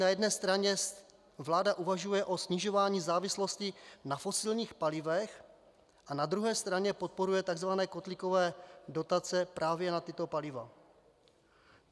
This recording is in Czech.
Na jedné straně vláda uvažuje o snižování závislosti na fosilních palivech a na druhé straně podporuje tzv. kotlíkové dotace právě na tato paliva.